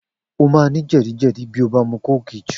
O máa ní jè̩díjè̩dí bí o bá mu kóòkì jù